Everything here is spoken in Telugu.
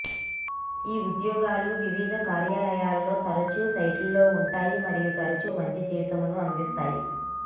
ఈ ఉద్యోగాలు వివిధ కార్యాలయాల్లో తరచూ సైట్లో ఉంటాయి మరియు తరచూ మంచి జీతంను అందిస్తాయి